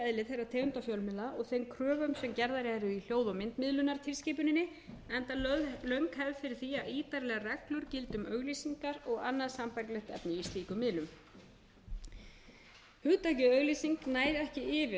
tegundar fjölmiðla og þeim kröfum sem gerðar eru í hljóð og myndmiðlunartilskipuninni enda löng hefð fyrir því að ítarlegar reglur gildi um auglýsingar og annað sambærilegt efni í slíkum miðlum hugtakið auglýsing nær ekki yfir öll